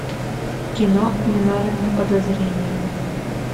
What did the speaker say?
кино виновен по подозрению